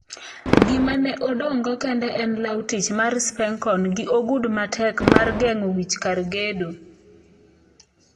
Gima ne odong'go kende en law tich mar Spencon gi ogudu matek mar geng'o wich kar gedo.